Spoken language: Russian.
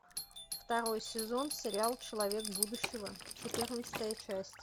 второй сезон сериал человек будущего четырнадцатая часть